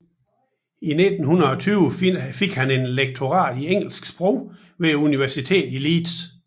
I 1920 fik han et lektorat i engelsk sprog ved Universitetet i Leeds